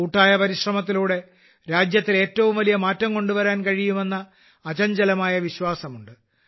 കൂട്ടായ പരിശ്രമത്തിലൂടെ രാജ്യത്തിൽ ഏറ്റവും വലിയ മാറ്റം കൊണ്ടുവരാൻ കഴിയുമെന്ന അചഞ്ചലമായ വിശ്വാസമുണ്ട്